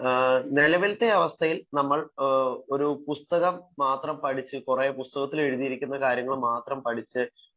നിലവിലെ അവസ്ഥയിൽ നമ്മൾ ഒരു പുസ്തകം മാത്രം പഠിച്ചു ഒരു പുസ്തകത്തിൽ എഴുതിയ കാര്യം മാത്രം പഠിച്ചു